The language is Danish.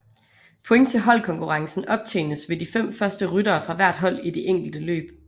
Point til holdkonkurrencen optjenes ved de fem første ryttere fra hvert hold i de enkelte løb